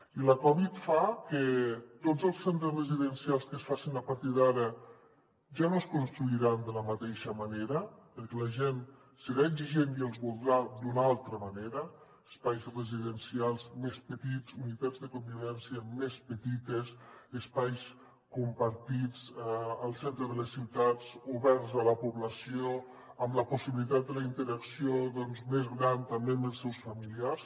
i la covid fa que tots els centres residencials que es facin a partir d’ara ja no es construiran de la mateixa manera perquè la gent serà exigent i els voldrà d’una altra manera espais residencials més petits unitats de convivència més petites espais compartits al centre de les ciutats oberts a la població amb la possibilitat de la interacció més gran també amb els seus familiars